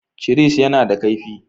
Cisir yana da kaifi.